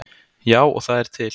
Já, og það er til.